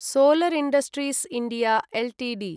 solar industries India Ltd